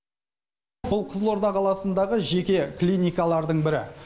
бұл қызылорда қаласындағы жеке клиникалардың бірі